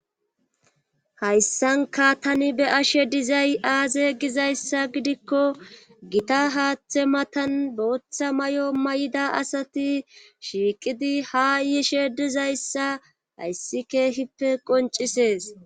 Hayssanka tani be ashe dizay aaze gizayssa gidikko gita haaththe matan booththa may7o may7ida asati shiiqidi ha yiishe dizayssa hayssi keehippe qoncisees